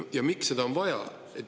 Ja miks seda on vaja?